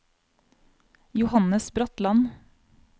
Johannes Bratland